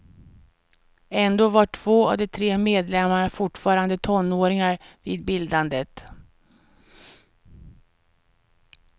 Ändå var två av de tre medlemmarna fortfarande tonåringar vid bildandet.